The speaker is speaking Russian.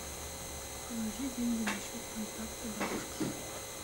положи деньги на счет контакта бабушка